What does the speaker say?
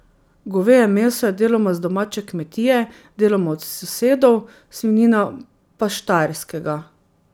Goveje meso je deloma z domače kmetije, deloma od sosedov, svinjina pa s Štajerskega.